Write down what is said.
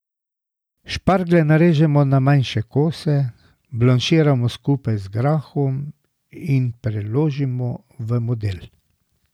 Šparglje narežemo na manjše kose, blanširamo skupaj z grahom in preložimo v model.